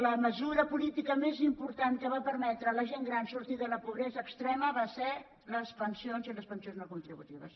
la mesura política més important que va permetre a la gent gran sortir de la pobresa extrema va ser les pensions i les pensions no contributives